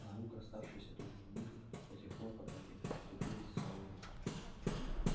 наука оставшаяся только в мифах до тех пор пока не вступилось основание